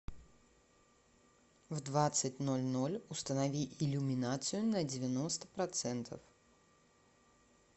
в двадцать ноль ноль установи иллюминацию на девяносто процентов